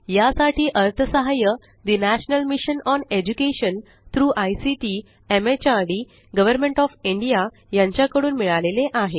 यासाठी अर्थसहाय्य the national mission on education through ICT MHRD government of India यांच्या कडून मिळाले आहे